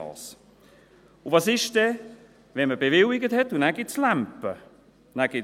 Und was geschieht, wenn man etwas bewilligt hat, und es dann Zoff gibt?